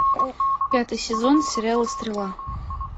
пятый сезон сериала стрела